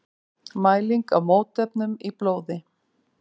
Mæling á mótefnum í blóði.